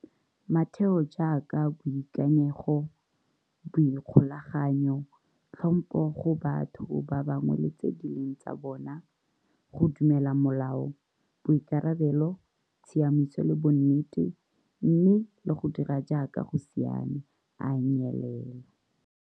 Matheo jaaka boikanyego, boikgolaganyo, tlhompho go batho ba bangwe le tse di leng tsa bona, go dumela molao, boikarabelo, tshiamiso le bonnete, mme le go dira jaaka go siame, a a nyelela.